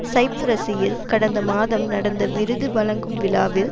சைப்ரஸியில் கடந்த மாதம் நடந்த விருது வழங்கும் விழாவில்